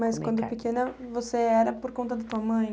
Mas quando pequena você era por conta da tua mãe?